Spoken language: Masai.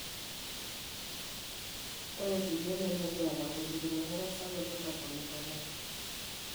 Ore kulie elelek eeta ingolikinot erasaroto naponiponari.